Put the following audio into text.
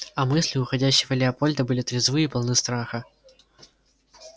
а мысли уходящего лепольда были трезвы и полны страха